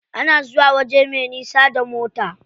Ana zuwa waje me nisa da mota.